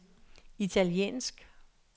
italiensk